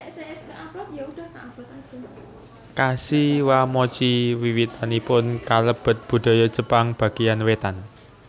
Kashiwamochi wiwitanipun kalebet budaya Jepang bagéyan wétan